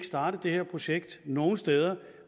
starte det her projekt nogen steder